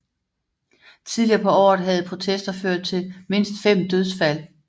Tidligere på året havde protester ført til mindst fem dødsfald